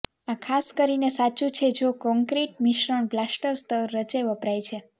આ ખાસ કરીને સાચું છે જો કોંક્રિટ મિશ્રણ પ્લાસ્ટર સ્તર રચે વપરાય છે